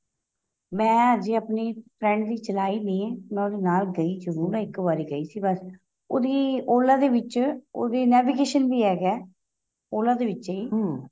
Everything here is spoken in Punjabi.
ਮੈਂ ਅਜੇ ਆਪਣੀ friend ਦੀ ਚਲਾਈ ਨਹੀਂ ਏ ਮੈਂ ਉਹਦੇ ਨਾਲ ਗਈ ਜਰੂਰ ਹਾਂ ਇੱਕ ਵਾਰ ਗਈ ਸੀ ਬੱਸ ਉਹਦੀ OLA ਦੇ ਵਿੱਚ ਉਹਦੇ navigation ਵੀ ਹੈਗਾ Ola ਦੇ ਵਿਚੇ ਹੀ